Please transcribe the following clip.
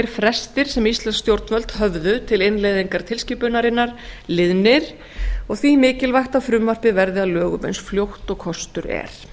frestir sem íslensk stjórnvöld höfðu til innleiðingar tilskipunarinnar liðnir og því mikilvægt að frumvarpið verði að lögum eins fljótt og kostur er